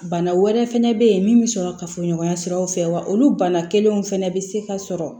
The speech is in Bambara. Bana wɛrɛ fɛnɛ bɛ ye min bɛ sɔrɔ kafoɲɔgɔnya siraw fɛ wa olu bana kelenw fana bɛ se ka sɔrɔ